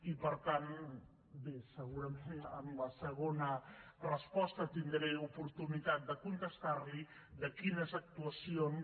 i per tant bé segurament en la segona resposta tindré oportunitat de contestar li quines actuacions